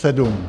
Sedm.